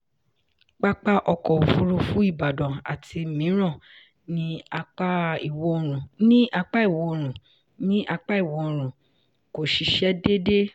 pápá ọkọ̀ òfurufú ìbàdàn àti mìíràn ní apá ìwọ̀òrùn ní apá ìwọ̀òrùn kò ṣiṣẹ́ déédé.